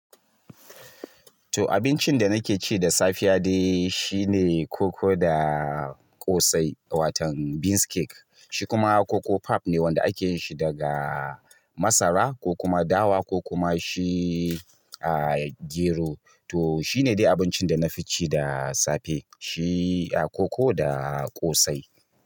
To abincin da nake ci da safiya dai, shine koko da ƙosai wato beans cake, shikuma koko pap ne, wanda ake yinshi daga marasa ko kuma dawa ko kuma shi ah gero to shine dai abincin da na fi ci da safe. Shi, ah, koko da ƙosai.